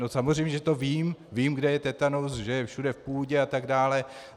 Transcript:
No samozřejmě, že to vím, vím, kde je tetanus, že je všude v půdě atd.